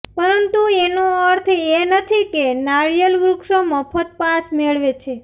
પરંતુ એનો અર્થ એ નથી કે નાળિયેર વૃક્ષો મફત પાસ મેળવે છે